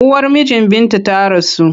Uwar mijin Binta ta rasu.